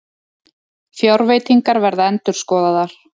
Fjárveitingar verða endurskoðaðar